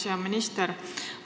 Hea minister!